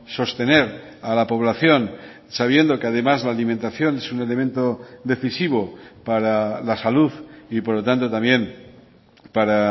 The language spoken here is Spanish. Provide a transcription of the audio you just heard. sostener a la población sabiendo que además la alimentación es un elemento decisivo para la salud y por lo tanto también para